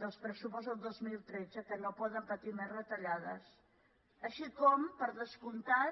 dels pressupostos de dos mil tretze que no poden patir més retallades i també per descomptat